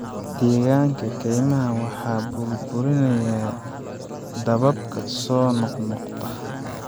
Deegaanka kaymaha waxaa burburinaya dababka soo noqnoqda.